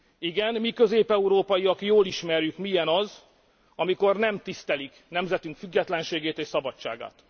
Igen, mi, közép európaiak jól ismerjük milyen az, amikor nem tisztelik nemzetünk függetlenségét és szabadságát.